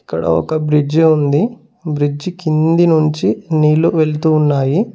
ఇక్కడ ఒక బ్రిడ్జి ఉంది. బ్రిడ్జి కింది నుంచి నీళ్లు వెళుతూ ఉన్నాయి.